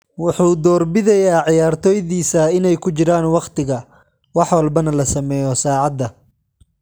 Wuxuu door bidayaa ciyaartoydiisa inay ku jiraan waqtiga, wax walbana la sameeyo saacada.